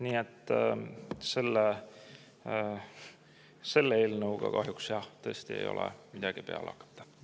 Nii et selle eelnõuga kahjuks, jah, tõesti ei ole midagi peale hakata.